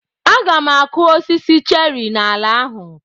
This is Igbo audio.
Aga m akụ osisi cheri n'ala ahụ.